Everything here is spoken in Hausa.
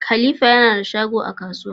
Da na san karya yake yi a matsayin mai gidan.